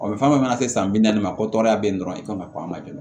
fɛn fɛn mana se san bi naani ma ko tɔrɔya be yen dɔrɔn i komi a ma joona